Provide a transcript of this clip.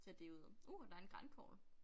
Tage det ud uh og der en grankogle